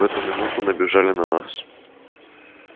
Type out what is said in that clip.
в эту минуту набежали на нас